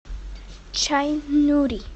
чай нури